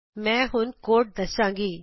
ਮੈਂ ਹੁਣ ਕੋਡ ਦਸਾਂਗੀ